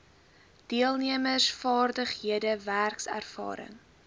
deelnemers vaardighede werkservaring